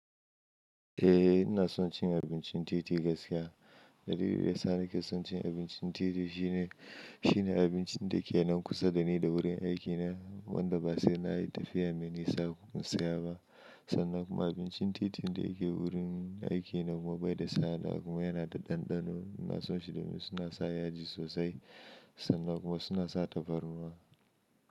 Eh ina son cin abincin titi gaskiya. Dalilin da ya sa ni ke son cin abincin titi shine, shine abincin da ke nan kusa da ni da wurin aiki na wanda ba sai na yi tafiya mai nisa kafin in saya ba. Sannan kuma abincin titi da yake wurin aiki na kuma bai da tsada kuma yana da ɗanɗano. Ina son shi domin suna sa yaji sosai sannan kuma suna sa tafarnuwa.